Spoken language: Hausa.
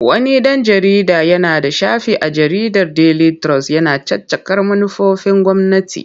Wani ɗan jarida yana da shafi a jaridar Daily Trust yana caccakar manufofin gwamnati.